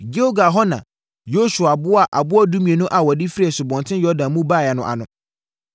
Gilgal hɔ na Yosua boaa aboɔ dumienu a wɔde firi Asubɔnten Yordan mu baeɛ no ano.